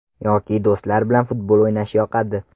Yoki do‘stlar bilan futbol o‘ynash yoqadi.